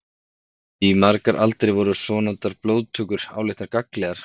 Í margar aldir voru svonefndar blóðtökur álitnar gagnlegar.